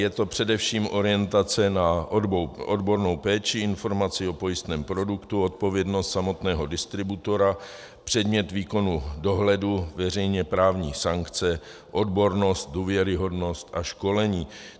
Je to především orientace na odbornou péči, informaci o pojistném produktu, odpovědnost samotného distributora, předmět výkonu dohledu, veřejně právní sankce, odbornost, důvěryhodnost a školení.